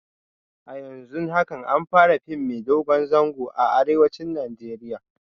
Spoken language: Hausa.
A yanzun haka an fara fim mai dogon zango a arewacin Najeriya